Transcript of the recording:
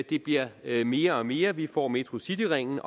det bliver mere og mere og vi får metrocityringen